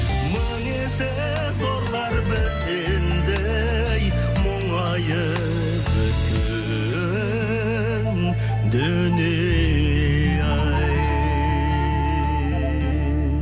мың есе зорлар бізден де ей мұңайып өткен дүние ай